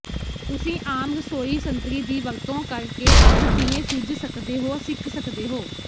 ਤੁਸੀਂ ਆਮ ਰਸੋਈ ਸੰਤਰੀ ਦੀ ਵਰਤੋਂ ਕਰਕੇ ਅੱਗ ਕਿਵੇਂ ਸੁੱਝ ਸਕਦੇ ਹੋ ਸਿੱਖ ਸਕਦੇ ਹੋ